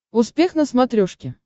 успех на смотрешке